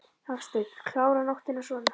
Hafsteinn: Klára nóttina svona?